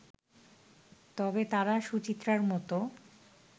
তবে তারা সুচিত্রার মতো